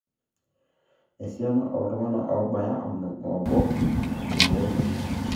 Esiana oltung'anka oobaya onom oobo eibooyioki